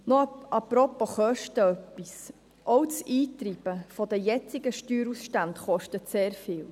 Noch etwas apropos Kosten: Auch das Eintreiben der jetzigen Steuerausstände kostet sehr viel: